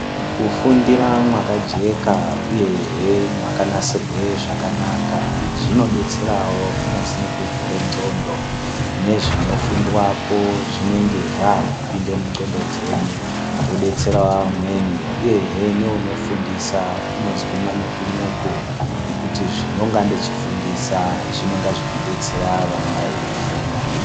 Kufundira mwakajeka uyehe mwakanasirwe zvakanaka zvinodetserawo kunyazi nekuvhure ndxondo, nezvinofundwapo zvinenge zvakupinde mundxondo dzedu zvodetserawo vamweni, uyehe neunofundisa unozwe manyuku-nyuku nekuti zvondinonga ndichifundisa zvinonga zvichidetsera vanonga veyiifunda.